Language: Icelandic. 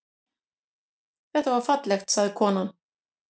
Það var fallegt, sagði konan.